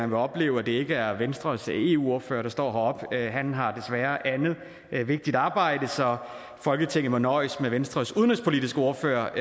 vil opleve at det ikke er venstres eu ordfører der står heroppe han har desværre andet vigtigt arbejde så folketinget må nøjes med venstres udenrigspolitiske ordfører